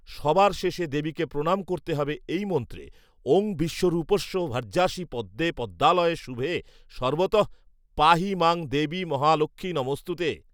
সবার শেষে দেবীকে প্রণাম করতে হবে এই মন্ত্রে, ‘’ওঁ বিশ্বরূপস্য ভার্যাসি পদ্মে পদ্মালয়ে শুভে, সর্বতঃ পাহি মাং দেবি মহালক্ষ্মী নমঽস্তুতে